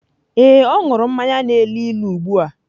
Ee, ọ ṅụrụ mmanya na-elu ilu ugbu a.